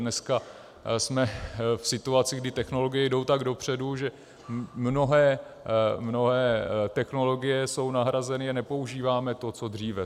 Dneska jsme v situaci, kdy technologie jdou tak dopředu, že mnohé technologie jsou nahrazeny a nepoužíváme to co dříve.